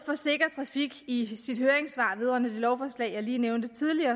trafik i sit høringssvar vedrørende det lovforslag jeg lige nævnte